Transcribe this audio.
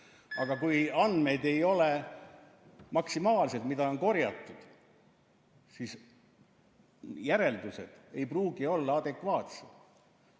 Aga kui andmed ei ole maksimaalsed, mida on korjatud, siis järeldused ei pruugi olla adekvaatsed.